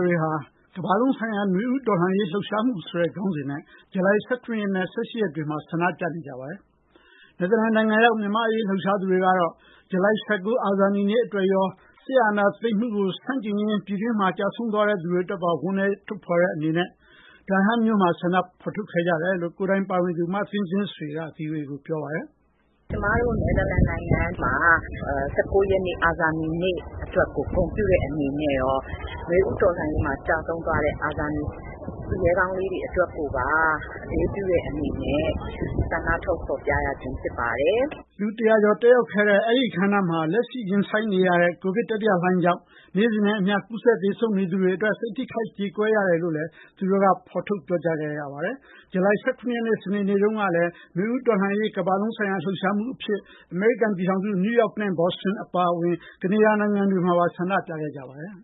တွေက ကမ္ဘာလုံးဆိုင်ရာ နွေဦးတော်လှန်ရေး လှုပ်ရှားမှုဆိုတဲ့ ခေါင်းစဉ်နဲ့ ဇူလိုင် ၁၇ နဲ့ ၁၈ ရက်နေ့တွေမှာ ကမ္ဘာတလွှား ဆန္ဒပြနေကြပါတယ်။ နယ်သာလန်နိုင်ငံရောက် မြန်မာ့အရေး လှုပ်ရှားသူတွေကတော့ ဇူလိုင် ၁၉ အာဇာနည်နေ့အတွက်ရော စစ်အာဏာသိမ်းမှုကို ဆန့်ကျင်ရင်း ပြည်တွင်းမှာ သေဆုံးခဲ့ရသူတွေအတွက်ပါ ဝမ်းနည်းကြောင်း ထုတ်ဖော်တဲ့အနေနဲ့ နယ်သာလန် ဒါဟမ်းမြို့မှာ ဆန္ဒထုတ်ဖော်ခဲ့ကြတယ်လို့ ကိုယ်တိုင်ပါဝင်သူ မသင်းသင်းဆွေက ဗွီအိုအေကို ပြောပါတယ်။ “ကျမတို့ နယ်သာလန်နိုင်ငံမှာ ၁၉ ရက်နေ့ အာဇာနည်နေ့အတွက် ဂုဏ်ပြုတဲ့အနေနဲ့ရော နွေဦးတော်လှန်ရေးမှာ ကျဆုံးသွားတဲ့ အာဇာနည် သူရဲကောင်းလေးတွေ အတွက်ကိုပါ အလေးပြုတဲ့အနေနဲ့ ဆန္ဒထုတ်ဖော်ပြရခြင်း ဖြစ်ပါတယ်။” လူ ၁၀၀ ကျော် တက်ရောက်တဲ့ အဲဒီအခမ်းအနားမှာ လက်ရှိရင်ဆိုင်နေရတဲ့ ကိုဗစ် တတိယလှိုင်းဒဏ်ကြောင့် နေ့စဉ်နဲ့အမျှ ကူးစက်သေဆုံးနေသူတွေအတွက် စိတ်ထိခိုက် ကြေကွဲရကြောင်းကိုလည်း ထုတ်ဖော်ပြောဆိုခဲ့ကြပါတယ်။ ဇူလိုင် ၁၇ ရက် စနေနေ့တုန်းကလည်း နွေဦးတော်လှန်ရေး ကမ္ဘာလုံးဆိုင်ရာ လှုပ်ရှားမှုအဖြစ် အမေရိကန်ပြည်ထောင်စု နယူးယောက်၊ ဘော့စတွန်နဲ့ ကနေဒါနိုင်ငံတွေမှာ ဆန္ဒပြခဲ့ကြပါတယ်